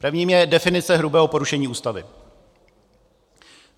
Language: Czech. Prvním je definice hrubého porušení Ústavy.